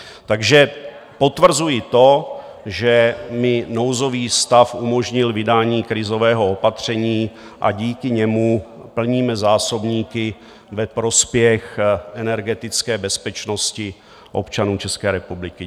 Takže potvrzuji to, že mi nouzový stav umožnil vydání krizového opatření a díky němu plníme zásobníky ve prospěch energetické bezpečnosti občanů České republiky.